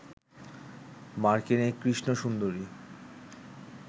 মার্কিন এই কৃষ্ণ সুন্দরী